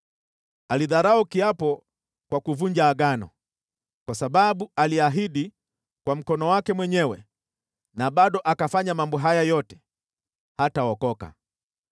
Alidharau kiapo kwa kuvunja Agano. Kwa sababu aliahidi kwa mkono wake mwenyewe na bado akafanya mambo haya yote, hataokoka.